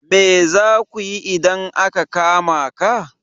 Me za ku yi idan aka kama ka?